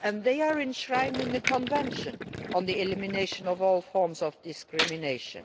rights. They are enshrined in the Convention on the Elimination of All Forms of Discrimination.